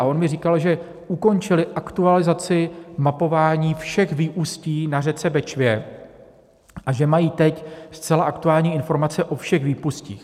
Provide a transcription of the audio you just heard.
A on mi říkal, že ukončili aktualizaci mapování všech výustí na řece Bečvě a že mají teď zcela aktuální informace o všech výpustích.